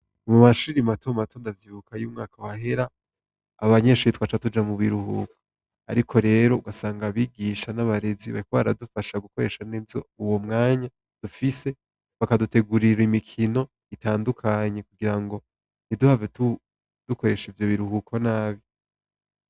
Mu mashuri matomato ndavyibuka iyo umwaka wahera abanyeshure twaca tuja mu biruhuko, ariko rero ugasanga abigisha n'abarezi bariko baradufasha gukoresha neza uyo mwanya dufise bakadutegurira imikono itandukanye kugirango ntiduhave dukoresha ivyo biruhuko nabi.